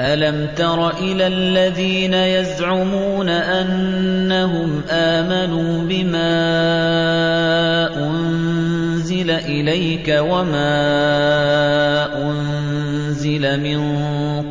أَلَمْ تَرَ إِلَى الَّذِينَ يَزْعُمُونَ أَنَّهُمْ آمَنُوا بِمَا أُنزِلَ إِلَيْكَ وَمَا أُنزِلَ مِن